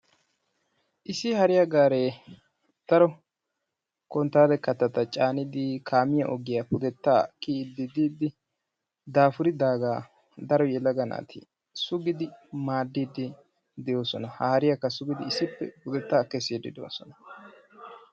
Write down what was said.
Issi hariya gaaree daro konttaale kattata caanidi kaamiya ogiya pudettaa kiyidi diidi dafuridaagaa daro yelaga naati sugidi maaddidi de'oosona. Ha hariyakka sugidi issippe pudeta kessiddi de'oosona.